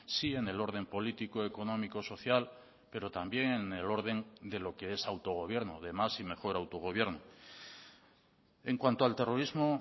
sí en el orden político económico social pero también en el orden de lo que es autogobierno de más y mejor autogobierno en cuanto al terrorismo